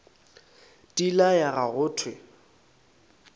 di laya ga go thewe